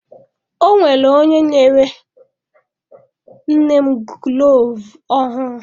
Ọ nwere onye nyere nne m gulovu ọhụụ.